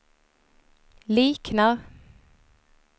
liknar